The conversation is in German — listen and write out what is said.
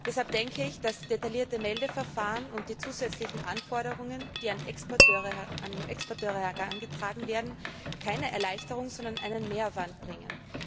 Deshalb denke ich, dass detaillierte Meldeverfahren und die zusätzlichen Anforderungen, die an Exporteure herangetragen werden, keine Erleichterung bringen, sondern einen Mehraufwand bedeuten.